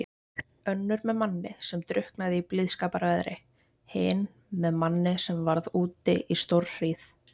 Önnur með manni sem drukknaði í blíðskaparveðri, hin með manni sem varð úti í stórhríð.